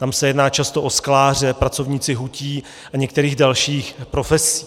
Tam se jedná často o skláře, pracovníky hutí a některých dalších profesí.